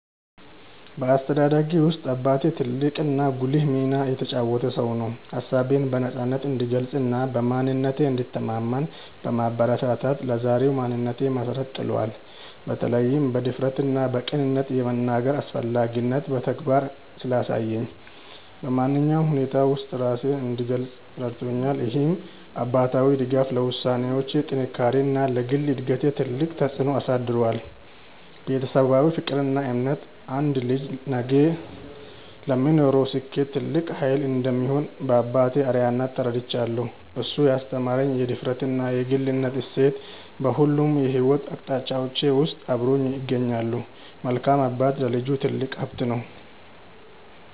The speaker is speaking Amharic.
በአስተዳደጌ ውስጥ አባቴ ትልቅና ጉልህ ሚና የተጫወተ ሰው ነው። ሀሳቤን በነፃነት እንድገልጽና በማንነቴ እንድተማመን በማበረታታት ለዛሬው ማንነቴ መሰረት ጥሏል። በተለይም በድፍረትና በቅንነት የመናገርን አስፈላጊነት በተግባር ስላሳየኝ፣ በማንኛውም ሁኔታ ውስጥ ራሴን እንድገልጽ ረድቶኛል። ይህ አባታዊ ድጋፍ ለውሳኔዎቼ ጥንካሬና ለግል እድገቴ ትልቅ ተጽዕኖ አሳድሯል። ቤተሰባዊ ፍቅርና እምነት አንድ ልጅ ነገ ለሚኖረው ስኬት ትልቅ ኃይል እንደሚሆን በአባቴ አርአያነት ተረድቻለሁ። እሱ ያስተማረኝ የድፍረትና የግልነት እሴት በሁሉም የሕይወት አቅጣጫዎቼ ውስጥ አብሮኝ ይገኛል። መልካም አባት ለልጁ ትልቅ ሀብት ነው።